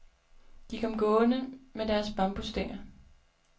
De kom gående med deres bambusstænger.